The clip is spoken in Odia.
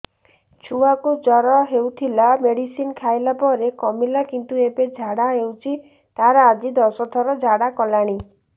ଛୁଆ କୁ ଜର ହଉଥିଲା ମେଡିସିନ ଖାଇଲା ପରେ କମିଲା କିନ୍ତୁ ଏବେ ଝାଡା ହଉଚି ତାର ଆଜି ଦଶ ଥର ଝାଡା କଲାଣି